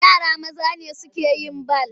Yara maza ne suke yin bal.